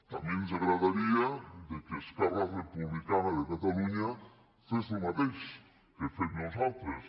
també ens agradaria que esquerra republicana de catalunya fes el mateix que fem nosaltres